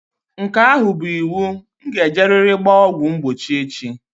Nke ahụ bụ iwu. Nga e jeriri gbaa ọgwụ mgbochi echi.